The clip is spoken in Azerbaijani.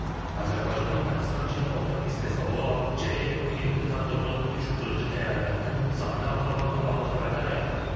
Azərbaycanın Pakistan-Çin ortaq istehsalı olan JF-17 Thunder Block 3 qırıcı təyyarələrinin sayını artırmaqla bağlı xəbərlər yayılıb.